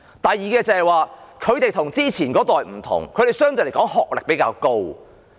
第二，現今的長者與上一代的不同，他們的學歷都相對較高。